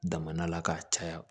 Daman la k'a caya